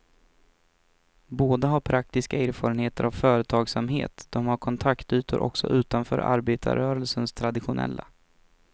Båda har praktiska erfarenheter av företagsamhet, de har kontaktytor också utanför arbetarrörelsens traditionella.